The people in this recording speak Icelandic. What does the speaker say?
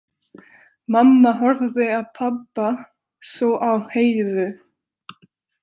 Mamma horfði á pabba, svo á Heiðu.